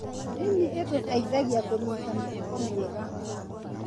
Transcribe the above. Ndini ĩtũteithagia kũnyita mĩtugo mĩega.